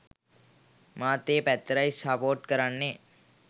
මාත් ඒ පැත්තටයි සපෝට් කරන්නෙ